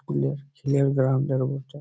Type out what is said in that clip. School -এর খেলার ground এর বটে।